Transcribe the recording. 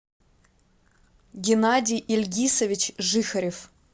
геннадий ильгизович жихарев